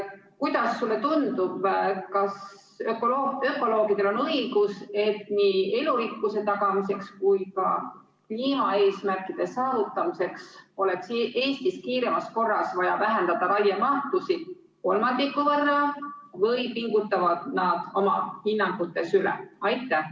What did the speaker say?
Kuidas sulle tundub, kas ökoloogidel on õigus, et nii elurikkuse tagamiseks kui ka kliimaeesmärkide saavutamiseks oleks Eestis kiiremas korras vaja vähendada raiemahtusid kolmandiku võrra, või pingutavad nad oma hinnangutes üle?